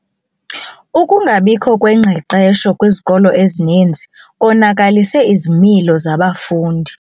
Ukungabikho kwengqeqesho kwizikolo ezininzi konakalise izimilo zabafundi.